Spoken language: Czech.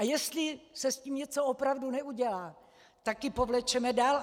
A jestli se s tím něco opravdu neudělá, tak ji povlečeme dál.